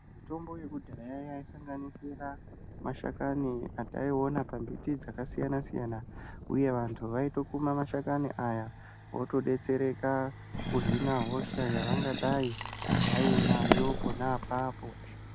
Mitombo yekudhaya yaisanganisira mashakani ataiona pambiti dzakasiyanasiyana uye vantu vaitokuma mashakani aya votodetsereka kuhina hosha yavangadayi vainayo pona apapo.